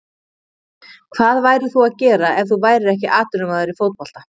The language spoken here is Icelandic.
Hvað værir þú að gera ef þú værir ekki atvinnumaður í fótbolta?